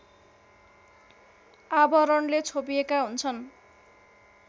आवरणले छोपिएका हुन्छन्